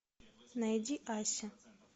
найди ася